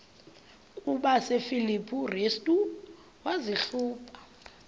kwabasefilipi restu wazihluba